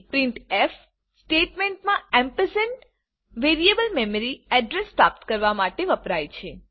printf સ્ટેટમેન્ટમાં ampersand ampersand variable memory address પ્રાપ્ત કરવા માટે વપરાય છે